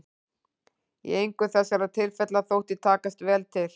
Í engu þessara tilfella þótti takast vel til.